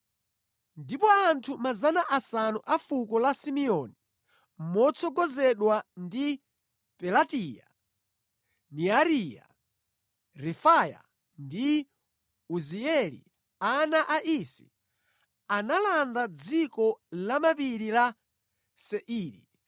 Ndipo anthu 500 a fuko la Simeoni, motsogozedwa ndi Pelatiya, Neariya, Refaya ndi Uzieli, ana a Isi, analanda dziko lamapiri la Seiri.